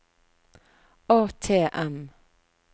ATM